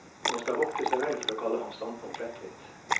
Man skal vokte seg vel for å kalle hans standpunkt lettvint.